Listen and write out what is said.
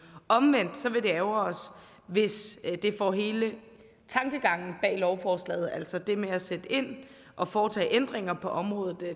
omvendt vil det ærgre os hvis det får hele tankegangen bag lovforslaget altså det med at sætte ind og foretage ændringer på området